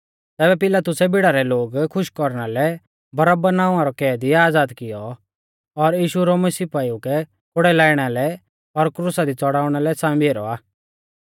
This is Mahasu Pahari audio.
तैबै पिलातुसै भीड़ा रै लोग खुश कौरना लै बरअब्बा नावां रौ कैदी आज़ाद कियौ और यीशु रोमी सिपाइऊ कै कोड़ै लाइणा लै और क्रुसा दी च़ड़ाउणा लै सांबी ऐरौ आ